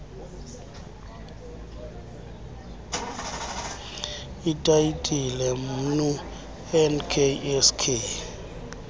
itayitile mnu nksk